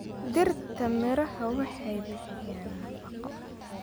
Dhirta miraha waxay bixiyaan nafaqo.